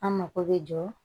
An mako bɛ jɔ